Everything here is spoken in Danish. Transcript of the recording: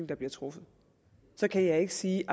der bliver truffet så kan jeg ikke sige